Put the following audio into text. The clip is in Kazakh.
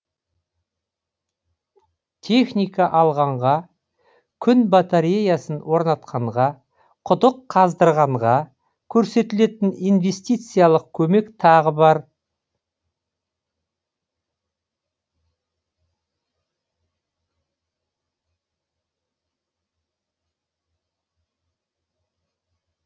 техника алғанға күн батареясын орнатқанға құдық қаздырғанға көрсетілетін инвестициялық көмек тағы бар